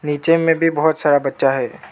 नीचे में भी बहुत सारा बच्चा है।